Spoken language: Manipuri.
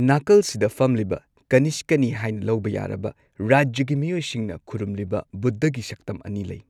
ꯅꯥꯀꯜꯁꯤꯗ ꯐꯝꯂꯤꯕ ꯀꯅꯤꯁꯀꯅꯤ ꯍꯥꯏꯅ ꯂꯧꯕ ꯌꯥꯔꯕ ꯔꯥꯖ꯭ꯌꯒꯤ ꯃꯤꯑꯣꯏꯁꯤꯡꯅ ꯈꯨꯔꯨꯝꯂꯤꯕ ꯕꯨꯗꯙꯒꯤ ꯁꯛꯇꯝ ꯑꯅꯤ ꯂꯩ꯫